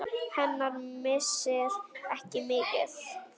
Hennar missir er mikill.